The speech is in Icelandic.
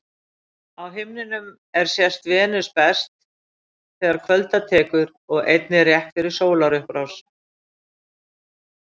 Á himninum er sést Venus best þegar kvölda tekur og einnig rétt fyrir sólarupprás.